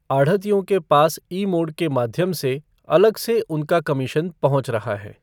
आढ़तियों के पास ई मोड के माध्यम से अलग से उनका कमीशन पहुंच रहा है।